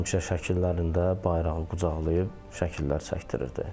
Həmişə şəkillərində bayrağını qucaqlayıb şəkillər çəkdirirdi.